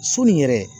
Soni yɛrɛ